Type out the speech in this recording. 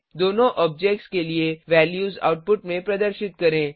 दोनों ऑब्जेक्ट्स के लिए वैल्यूज आउटपुट में प्रदर्शित करें